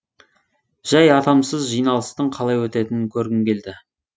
жәй атамсыз жиналыстың қалай өтетінін көргім келді